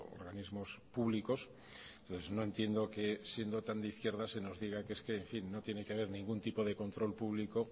organismos públicos entonces no entiendo que siendo tan de izquierdas se nos diga que es que en fin no tiene que ver ningún tipo de control público